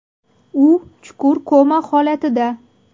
U chuqur koma holatida.